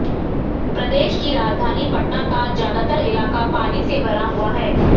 प्रदेश की राजधानी पटना का ज्यादातर इलाका पानी से भरा हुआ है